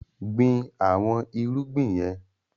Gbìn àwọn irúgbìn yẹn!